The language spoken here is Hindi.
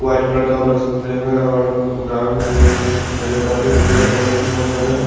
वाइट कलड़ का उधड़ से फ्ड़ेम है औड़ गड़ाउंड में ये ये पेड़-पोड़े भी पेर पौधे भी बोहोत साड़े हैं।